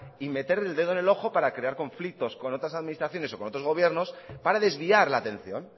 y meter el dedo en el ojo para crear conflictos con otras administraciones o con otros gobiernos para desviar la atención